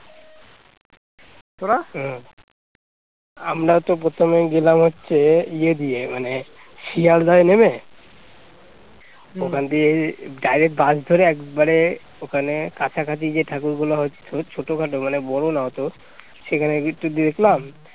দিয়ে direct bus ধরে একেবারে ওখানে কাছাকাছি যে ঠাকুর গুলো হয়েছে খুব ছোটখাটো মানে বড় না হত সেখানে গিয়ে একটু দেখলাম